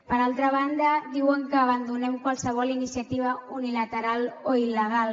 per altra banda diuen que abandonem qualsevol iniciativa unilateral o il·legal